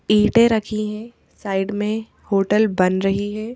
ईंटें रखी हैं साइड में होटल बन रही है।